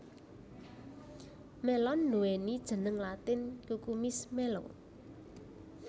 Mélon nduwéni jeneng latin Cucumis melo